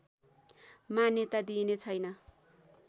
मान्यता दिइने छैन